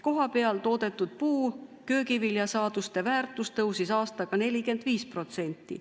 Kohapeal toodetud puu- ja köögiviljasaaduste väärtus tõusis aastaga 45%.